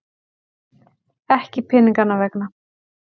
Ekki peninganna vegna.